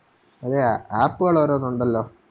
അതെ App കള് ഓരോന്നുണ്ടല്ലോ